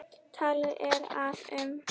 Talið er að um